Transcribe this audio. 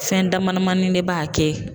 Fɛn dama damani de b'a kɛ